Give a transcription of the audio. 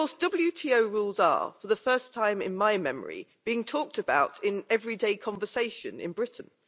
WTO rules are, for the first time in my memory, being talked about in everyday conversation in Britain.